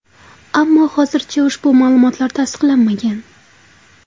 Ammo hozircha ushbu ma’lumotlar tasdiqlanmagan.